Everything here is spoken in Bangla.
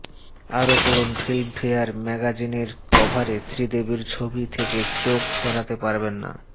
আরও পড়ুন ফিল্মফেয়ার ম্যাগাজিনের কভারে শ্রীদেবীর ছবি থেকে চোখ সরাতে পারবেন না